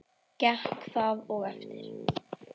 Gekk það og eftir.